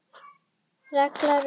Helga Rut.